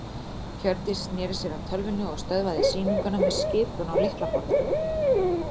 Hjördís sneri sér að tölvunni og stöðvaði sýninguna með skipun á lyklaborðinu.